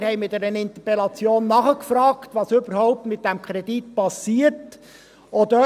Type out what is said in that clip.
Wir fragten mit einer Interpellation nach, was überhaupt mit diesem Kredit passiert sei.